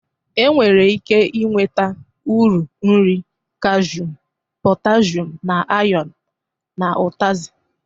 E nwere ike inweta uru nri kalshum, potashum na ayọn n'ụtazị.